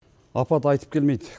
апат айтып келмейді